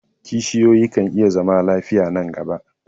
kishiyoyi kan iya zama lafiya nan gaba